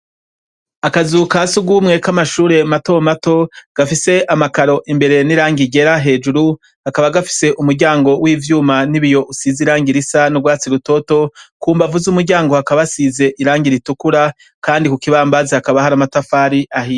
Akazu kasugumwe k'amashure mato mato, gafise amakaro imbere n'irangi ryera hejuru, kakaba gafise umuryango w'ivyuma n'ibiyo usize irangi risa n'urwatsi rutoto, kumbavu z'umuryango hakaba hasize irangi ritukura, kandi kukibambazi hakaba hari amatafari ahiye.